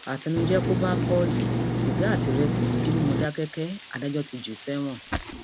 àtẹnuje kò bá paule sìgá àti ìrẹsì ló jì ní mòdákẹkẹ adájọ ti jù ú sẹwọn